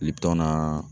I bi t'a na